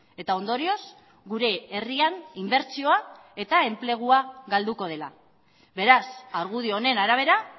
eta ondorioz gure herrian inbertsioa eta enplegua galduko dela beraz argudio honen arabera